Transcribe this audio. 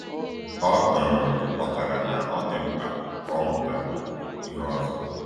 O um ghọtara na ọ dị mkpa ka ọ mụta ihe ọzọ.